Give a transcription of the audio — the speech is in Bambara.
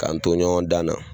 K'an to ɲɔgɔn dan na